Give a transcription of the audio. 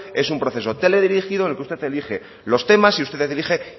es un proceso teledirigido en el que usted elige los temas y usted dirige